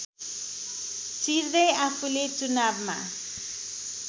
चिर्दै आफूले चुनावमा